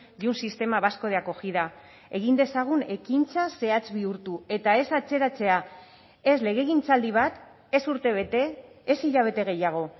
de un sistema vasco de acogida egin dezagun ekintza zehatz bihurtu eta ez atzeratzea ez legegintzaldi bat ez urtebete ez hilabete gehiago